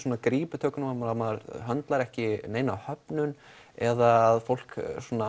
grípur maður höndlar ekki neina höfnun eða að fólk